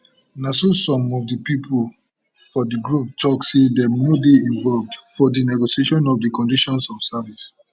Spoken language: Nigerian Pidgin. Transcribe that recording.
na so some of di pipo for di group tok say dem no dey involved for di negotiation of di conditions of service